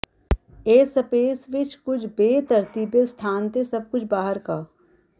ਇਹ ਸਪੇਸ ਵਿੱਚ ਕੁਝ ਬੇਤਰਤੀਬੇ ਸਥਾਨ ਤੇ ਸਭ ਕੁਝ ਬਾਹਰ ਕੱ